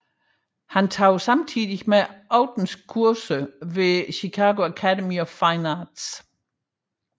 Han tog samtidig aftenkurser ved Chicago Academy of Fine Arts